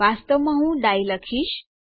વાસ્તવમાં હું ડાઇ લખીશ